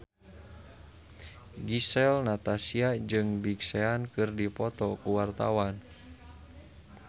Gisel Anastasia jeung Big Sean keur dipoto ku wartawan